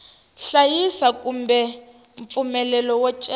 hlayisa kumbe mpfumelelo wo cela